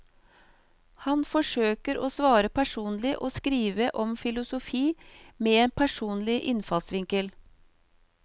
Han forsøker å svare personlig og skrive om filosofi med en personlig innfallsvinkel.